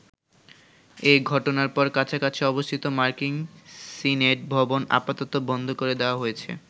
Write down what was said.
এঘটনার পর কাছাকাছি অবস্থিত মার্কিন সিনেট ভবন আপাতত বন্ধ করে দেয়া হয়েছে।